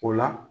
O la